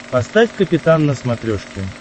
поставь капитан на смотрешке